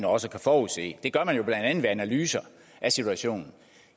også kan forudse det gør man blandt andet ved analyser af situationen